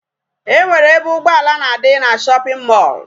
E nwere ebe ụgbọala na-adị na shopping mall.